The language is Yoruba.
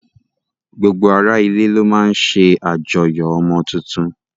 Gbogbo ara ilé ló máa ń ṣe àjọyọ̀ ọmọ tuntun